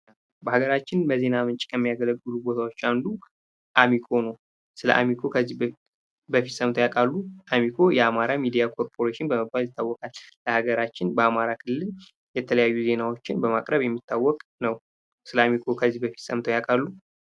በሀገራችን በዜና ምንጭ ከሚያገለግሉ ቦታዎች አንዱ አሚኮ ነው። ስለ አሚኮ ከዚህ በፊት ሰምተው ያውቃሉ? አሚኮ የአማራ ሚዲያ ኮርፖሬሽን በመባል ይታወቃል። በሀገራችን በአማራ ክልል የተለያዩ ዜናዎችን በማቅረብ የሚታወቅ ነው። ስለ አሚኮ ከዚህ በፊት ሰምተው ያውቃሉ?